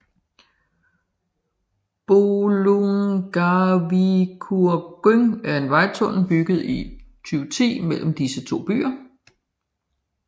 Bolungarvíkurgöng er en vejtunnel bygget i 2010 mellem disse to byer